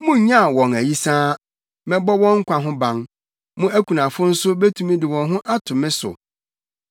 Munnyaw mo ayisaa, mɛbɔ wɔn nkwa ho ban. Mo akunafo nso betumi de wɔn ho ato me so.”